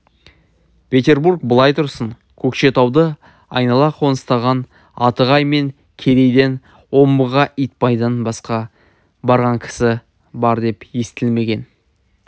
петербург былай тұрсын көкшетауды айнала қоныстаған атығай мен керейден омбыға итбайдан басқа барған кісі бар деп естілмеген